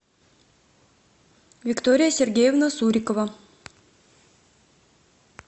виктория сергеевна сурикова